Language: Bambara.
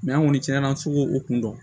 an kɔni cɛn na an se k'o kun dɔn